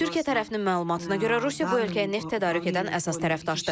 Türkiyə tərəfinin məlumatına görə Rusiya bu ölkəyə neft tədarük edən əsas tərəfdaşdır.